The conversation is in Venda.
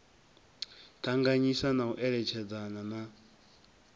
ṱanganyisa na u eletshedzana na